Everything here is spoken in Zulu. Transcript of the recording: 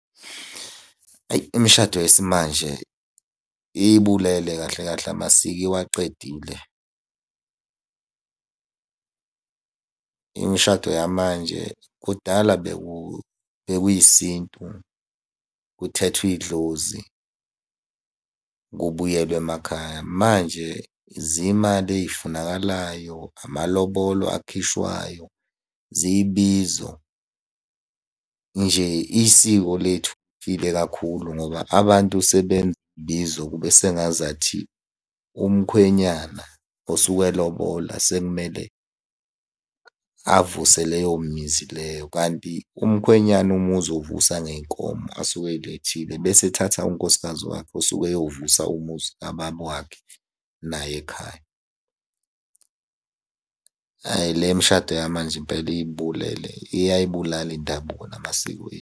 Ayi imishado yesimanje iyibulele kahle kahle amasiko iwaqedile. Imishado yamanje kudala bekuyisintu, kuthethwa idlozi, kubuyelwe emakhaya, manje zimali ey'funakalayo, amalobolo akhishwayo, zibizo. Nje isiko lethu lifile kakhulu, ngoba abantu kube sengazathi umkhwenyana osuke elobola sekumele avuse leyo mizi leyo, kanti umkhwenyana umuzi uwuvusa ngey'nkomo asuke ey'lethile bese ethatha unkosikazi wakhe osuke eyovusa umuzi kababa wakhe naye ekhaya. Ayi le mishado yamanje impela iyibulele, iyayibulala indabuko namasiko .